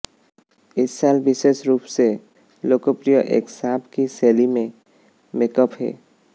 इस साल विशेष रूप से लोकप्रिय एक सांप की शैली में मेकअप है